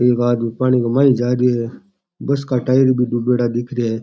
एक आदमी पानी के माई जा रहियो है बस का टायर भी डुबाडा दिखे है।